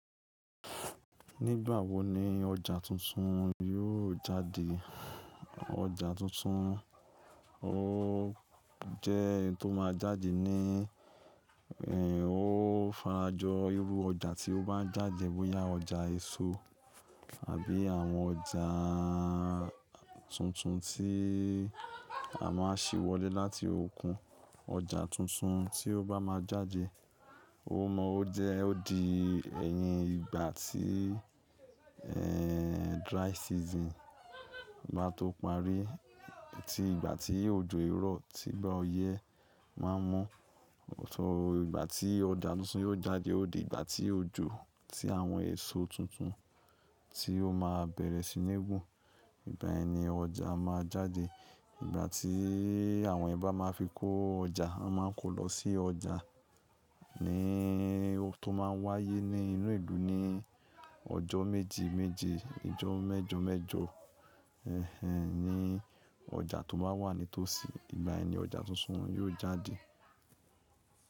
Nígbà wo ni ọjà tuntun yóò jáde? Ọjà tuntun ó jẹ́ hin tó máa jáde ní, ẹ, ó farajọ irú ọjà tí ó bá jáde bóyá ọjà èso àbí àwọn ọjà tuntun tí a má ń sì wọlé láti òkun. Ọjà tuntun tí ó bá máa jáde, ó mọ ó jẹ́ ó di ẹ̀yin ìgbà tí, ẹ, dry season bá tó parí. Tí ìgbà tí òjò i irọ́ tí gbá óyẹ máa ń mu. Ọ̀tọ̀, ìgbàtí ọjà tuntun yóò jáde ó di ìgbà tí òjò tí àwọn èso tuntun tí ó máa bẹ̀rẹ̀ sí ní wu. Ìgbà yẹn ni ọjà máa jáde. Ìgbà tí àwọn ẹeyan ba máa fi kó ọjà, won máa kó lọ sí ọjà ní ó tó máa wáyé ní inú ìlú ní ọjọ́ méje méje, ijọ́ mẹ́jo mẹ́jo, ẹ, ní ọjà tó bá wà ní tòsí, ìgbà yẹn ni ọjà tuntun yóò jáde.